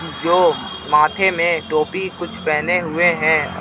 जो माथे में टोपी कुछ पहने हुए हैं.